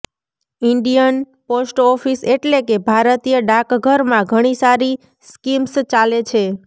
Indian post office એટલે કે ભારતીય ડાકઘરમાં ઘણી સારી સ્કીમ્સ ચાલે છે